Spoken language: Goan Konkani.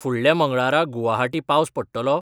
फुडल्या मंगळारा गुवाहाटी पावस पडटलो?